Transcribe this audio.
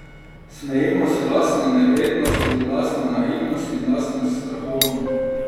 Smejimo se lastni nevednosti, lastni naivnosti in lastnim strahovom.